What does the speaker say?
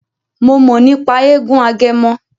Mo mọ̀ nípa eégún Agẹmọ.